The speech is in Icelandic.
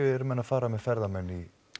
eru menn að fara með ferðamenn